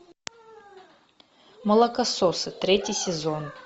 молокососы третий сезон